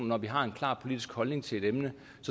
når vi har en klar politisk holdning til et emne